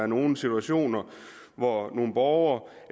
nogle situationer hvor en borger